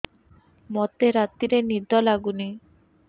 ମୋତେ ରାତିରେ ନିଦ ଲାଗୁନି